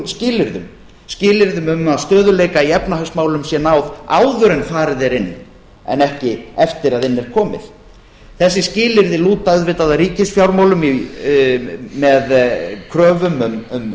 skilyrðum skilyrðum um að stöðugleika í efnahagsmálum sé náð áður en farið er inn en ekki eftir að inn er komið þessi skilyrði lúta auðvitað að ríkisfjármálum með kröfum um